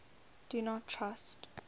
do not trust